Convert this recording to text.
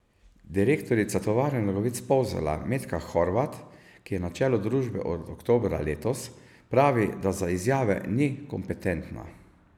Direktorica Tovarne nogavic Polzela Metka Horvat, ki je na čelu družbe od oktobra letos, pravi, da za izjave ni kompetentna.